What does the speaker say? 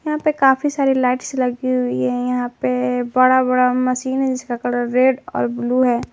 यहां पे काफी सारी लाइट्स लगी हुई है यहां पे बड़ा बड़ा मशीन है जिसका कलर रेड और ब्लू है।